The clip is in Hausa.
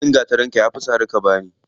Ƙaramin gatarinka ya fi sari ka bani.